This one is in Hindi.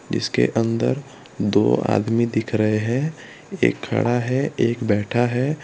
जीसके अंदर दो आदमी दिख रहे है एक खड़ा एक बैठा है।